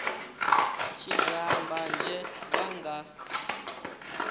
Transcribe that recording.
tshi daha mbanzhe vha nga